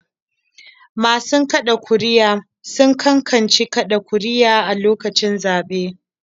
Masu kaɗa ƙuri'a sun cancanci kaɗa ƙuri'a a lokacin zaɓe.